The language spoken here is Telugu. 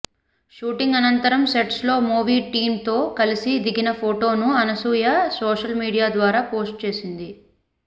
షూటింగ్ అనంతరం సెట్స్ లో మూవీ టీంతో కలిసి దిగిన ఫోటోను అనసూయ సోషల్ మీడియా ద్వారా పోస్టు చేసింది